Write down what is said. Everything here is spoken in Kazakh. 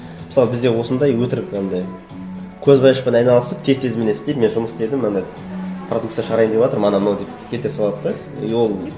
мысалы бізде осындай өтірік анандай көзбояушылықпен айналысып тез тез міне істеп мен жұмыс істедім мынандай продукция шығарайын деватырмын анау мынау деп келтіре салады да и ол